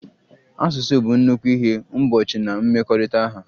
Asụsụ bụ nnukwu ihe mgbochi na mmekọrịta ha.